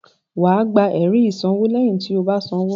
Wà á gba ẹ̀rí ìsanwó lẹ́yìn tí o bá san owó.